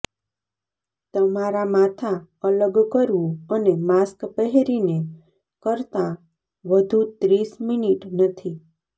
તમારા માથા અલગ કરવું અને માસ્ક પહેરીને કરતાં વધુ ત્રીસ મિનિટ નથી